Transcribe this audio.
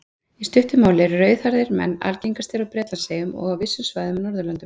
Í stuttu máli eru rauðhærðir menn algengastir á Bretlandseyjum og á vissum svæðum á Norðurlöndum.